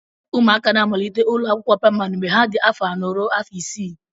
ụmụaka na-amalitekarị ụlọ akwụkwọ praịmarị mgbe ha dị afọ anọ ruo afọ isii